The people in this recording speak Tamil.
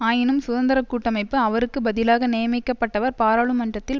ஆயினும் சுதந்திர கூட்டமைப்பு அவருக்கு பதிலாக நியமிக்கப்பட்டவர் பாராளுமன்றத்தில்